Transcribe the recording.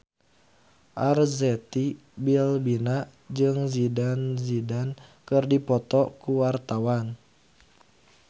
Arzetti Bilbina jeung Zidane Zidane keur dipoto ku wartawan